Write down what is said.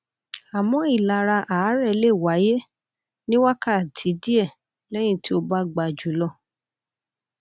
àmó ìlara àárè lè wáyé ní wákàtí díẹ lẹyìn tí o bá gba jù lọ